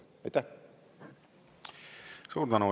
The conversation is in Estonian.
Suur tänu!